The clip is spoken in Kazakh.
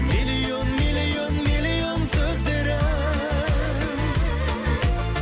миллион миллион миллион сөздері